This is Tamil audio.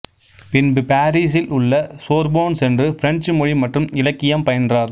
பின்பு பாரிசில் உள்ள சோர்போன் சென்று பிரெஞ்சு மொழி மற்றும் இலக்கியம் பயின்றார்